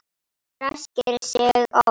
Ræskir sig oft.